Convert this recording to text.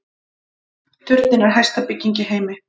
Turninn er hæsta bygging í heimi